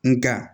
Nga